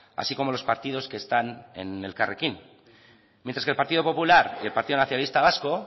así como los partidos que están en elkarrekin mientras que el partido popular y el partido nacionalista vasco